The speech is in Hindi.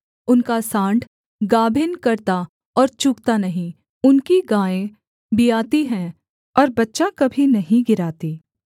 उनका साँड़ गाभिन करता और चूकता नहीं उनकी गायें बियाती हैं और बच्चा कभी नहीं गिराती